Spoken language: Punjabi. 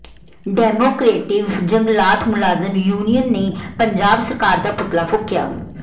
ਡੈਮੋਕਰੇਟਿਵ ਜੰਗਲਾਤ ਮੁਲਾਜ਼ਮ ਯੂਨੀਅਨ ਨੇ ਪੰਜਾਬ ਸਰਕਾਰ ਦਾ ਪੁਤਲਾ ਫੂਕਿਆ